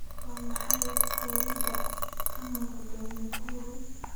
waa maxay qoriga ka muuqda nakuru